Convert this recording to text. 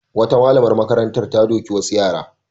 Wata malamar makaranta ta doki wasu yara.